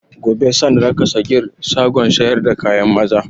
Gobe san raka sagir shagon sayar da kayan maza